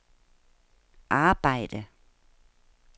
arbejde